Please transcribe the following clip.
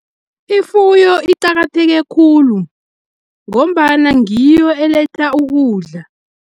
Ifuyo icakatheke khulu, ngombana ngiyo eletha ukudla.